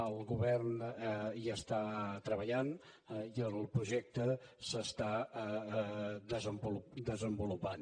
el govern hi està treballant i el projecte s’està desenvolupant